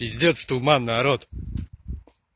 пиздец туман народ